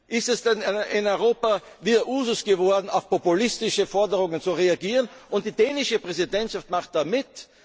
Ist es denn in Europa wieder Usus geworden, auf populistische Forderungen zu reagieren? Und die dänische Präsidentschaft macht da